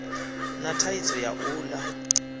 na thaidzo ya u ḽa